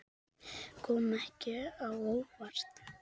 Kom ekki á óvart.